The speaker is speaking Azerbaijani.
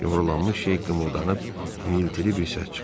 Yumrulanmış şey qımıldanıb iniltili bir səs çıxartdı.